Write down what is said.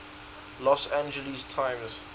los angeles times